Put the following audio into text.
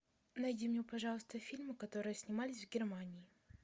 найди мне пожалуйста фильмы которые снимались в германии